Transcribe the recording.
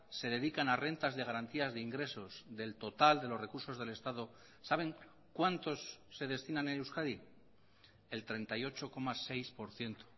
se dedican a rentas de garantías de ingresos del total de los recursos del estado saben cuántos se destinan en euskadi el treinta y ocho coma seis por ciento